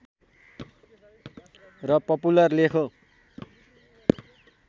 र पपुलर लेख हो